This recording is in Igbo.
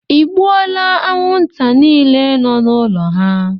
Ịgbuole anwụnta niile nọ n'ụlọ ha?